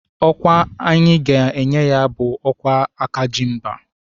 Ọkwa anyị ga-enye ya bụ ọkwa aka ji mba